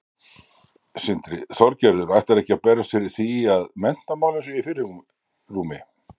Sindri: Þorgerður, ætlarðu ekki að berjast fyrir því að menntamálin séu í fyrirrúmi?